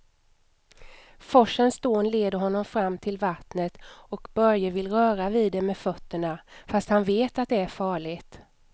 Forsens dån leder honom fram till vattnet och Börje vill röra vid det med fötterna, fast han vet att det är farligt.